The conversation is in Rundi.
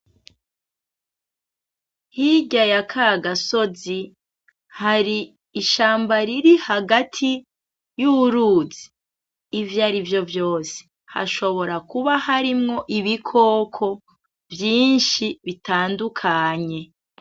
Hirya ya kagasozi hari ishamba riri hagati y'uruzi, ivyarivyo vyose hashobora kuba harimwo ibikoko vyinshi bitandukanye.